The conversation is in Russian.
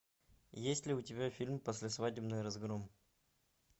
есть ли у тебя фильм послесвадебный разгром